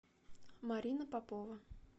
марина попова